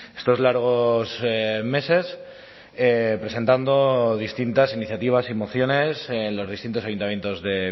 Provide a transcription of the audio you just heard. estos largos meses presentando distintas iniciativas y mociones en los distintos ayuntamientos de